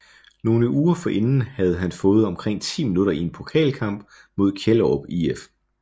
Nogle uger forinden havde han fået omkring 10 minutter i en pokalkamp mod Kjellerup IF